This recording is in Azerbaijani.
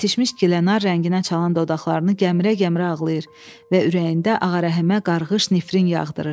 Yetişmiş gilənar rənginə çalan dodaqlarını gəmirə-gəmirə ağlayır və ürəyində Ağarəhəmə qarğış nifrin yağdırır.